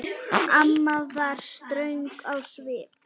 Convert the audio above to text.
Amma var ströng á svip.